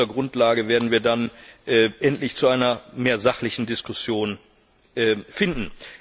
Ich glaube, auf dieser Grundlage werden wir dann endlich zu einer sachlicheren Diskussion finden.